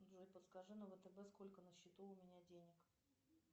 джой подскажи на втб сколько на счету у меня денег